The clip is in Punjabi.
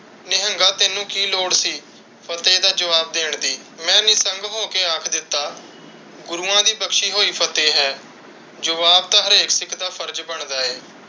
ਨਿਹੰਗਾ, ਤੈਨੂੰ ਕਿ ਲੋੜ ਸੀ ਜਵਾਬ ਦੇਣ ਦੀ? ਮੈਂ ਨਿਸੰਗ ਹੋ ਕੇ ਆਖਿ ਦਿੱਤਾ, ਗੁਰੂਆਂ ਦੀ ਬਖਸ਼ੀ ਹੋਈ ਫਤਿਹ ਹੈ, ਜਵਾਬ ਤਾਂ ਹਰੇਕ ਸਿੱਖ ਦਾ ਫਰਜ਼ ਬਣਦਾ ਹੈ।